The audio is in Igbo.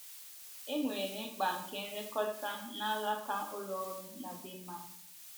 E nwere mkpa nke nlekọta n’alaka ụlọ ọrụ na Denmark.